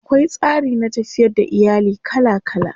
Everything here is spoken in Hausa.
Akwai tsari na tafiyar da iyali kala kala.